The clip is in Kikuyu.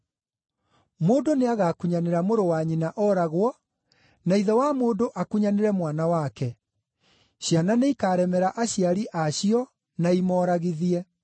“Mũndũ nĩagakunyanĩra mũrũ wa nyina ooragwo, na ithe wa mũndũ akunyanĩre mwana wake; ciana nĩikaremera aciari a cio na imoragithie.